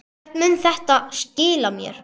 Hvert mun þetta skila mér?